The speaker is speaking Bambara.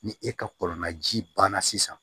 Ni e ka kɔlɔn naji banna sisan